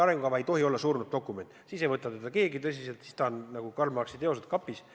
Arengukava ei tohi olla surnud dokument, siis ei võta teda keegi tõsiselt, siis ta on nagu Karl Marxi teosed kapis.